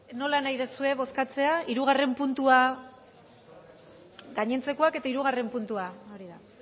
nola nahi duzue bozkatzea gainontzekoak eta hirugarrena puntua hori da